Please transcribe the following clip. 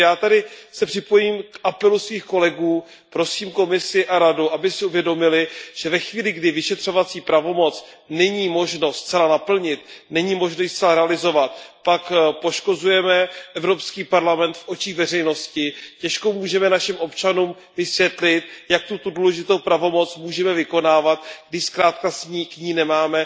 Takže já se připojím k apelu svých kolegů, prosím Komisi a Radu, aby si uvědomily, že ve chvíli, kdy vyšetřovací pravomoc není možno zcela naplnit, není možno ji zcela realizovat, pak poškozujeme Evropský parlament v očích veřejnosti. Těžko můžeme našim občanům vysvětlit, jak tuto důležitou pravomoc můžeme vykonávat, když k ní nemáme